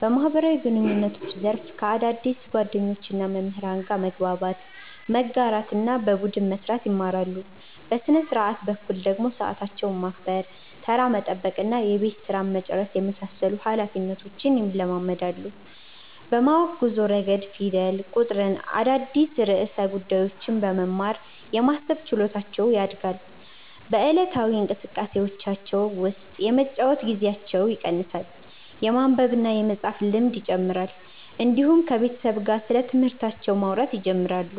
በማህበራዊ ግንኙነት ዘርፍ ከአዳዲስ ጓደኞችና መምህራን ጋር መግባባት፣ መጋራትና በቡድን መስራት ይማራሉ። በሥነ-ሥርዓት በኩል ደግሞ ሰዓታቸውን ማክበር፣ ተራ መጠበቅና የቤት ሥራ መጨረስን የመሳሰሉ ኃላፊነቶች ይለማመዳሉ። በማወቅ ጉዞ ረገድ ፊደል፣ ቁጥርና አዳዲስ ርዕሰ ጉዳዮችን በመማር የማሰብ ችሎታቸው ያድጋል። በዕለታዊ እንቅስቃሴዎቻቸው ውስጥ የመጫወቻ ጊዜያቸው ይቀንሳል፣ የማንበብና የመፃፍ ልምድ ይጨምራል፣ እንዲሁም ከቤተሰብ ጋር ስለትምህርታቸው ማውራት ይጀምራሉ።